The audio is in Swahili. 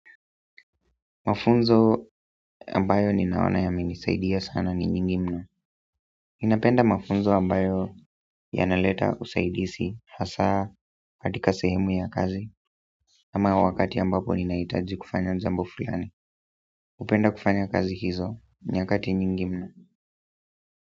Mafunzo ambayo ninaona yamenisaidia sana ni nyingi mno. Ninapenda mafunzo ambayo yanaleta usaidisi hasa katika sehemu ya kazi. Ama wakati ambapo ninahitaji kufanya jambo fulani. Hupenda kufanya kazi hizo nyakati nyingi mno.